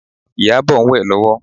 Ìyábọ̀ ń wẹ̀ lọ́wọ́